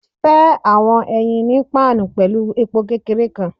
Fẹ awọn eyin ni pan pẹlu epo kekere kan